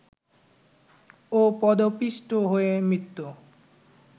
ও পদপিষ্ট হয়ে মৃত